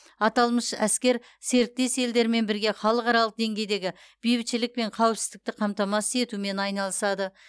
аталмыш әскер серіктес елдермен бірге халықаралық деңгейдегі бейбітшілік пен қауіпсіздікті қамтамасыз етумен айналысады